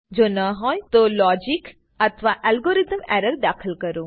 જો ના હોય તો લોજિક અથવા અલ્ગોરીથમ એરર દાખલ કરો